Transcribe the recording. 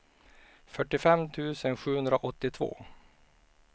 fyrtiofem tusen sjuhundraåttiotvå